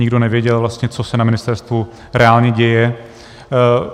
Nikdo nevěděl vlastně, co se na ministerstvu reálně děje.